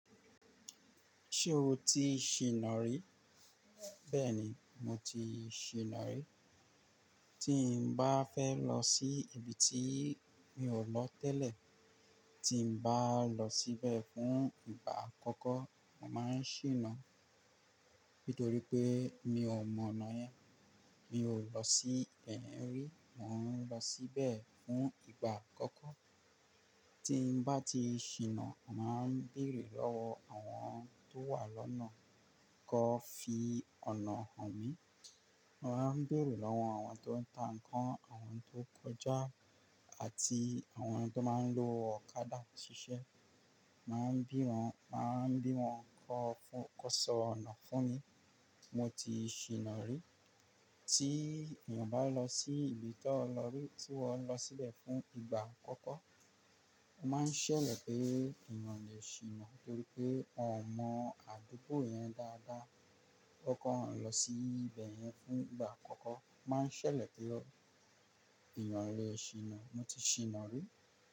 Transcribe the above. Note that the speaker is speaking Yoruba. Ṣé o ti ṣìná rí? Bẹ́ẹ̀ni, mo ti ṣìná rí. Tí mo bá fẹ́ lọ sí ibi tí mi ò lọ tẹ́lẹ̀, tí mo bá lọ síbẹ̀ fún ìgbà àkọ́kọ́, mo mà á ṣìná. Nítorí pé mi ò mọ ọ̀nà yẹn, mi ò lọ sí ibeyen rí, mò ń lọ síbẹ̀ fún ìgbà àkọ́kọ́. Tí mo bá ti ṣìná, mà á béèrè lọ́wọ́ àwọn tó wà lọ́nà kọ́ fi ọ̀nà hàn mí. Mà á béèrè lọ́wọ́ àwọn tó ń ta ǹkan, àwọn tó kọjá àti àwọn tó máa ń lo ọ̀kadà ṣiṣẹ́. Mà á bí wọn, mà á bí wọn kọ́ fún, kó sọ ọ̀nà fún mi. Mo ti ṣìná rí. Tí èèyàn bá lọ sí ibi tí ó lọ rí, tí ó ń lọ síbẹ̀ fún ìgbà àkọ́kọ́, ó máa ń ṣẹlẹ̀ pé èèyàn le ṣìná nítorí pé ò mọ àdúgbò yẹn dáadáa. Ó kàn ń lọ sí ibẹ̀ yẹn fún ìgbà àkọ́kọ́, máa ń ṣẹlẹ̀ pé ó, èèyàn le ṣìná. Mo ti ṣìná rí.